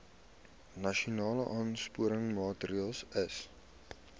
nasionale aansporingsmaatre ls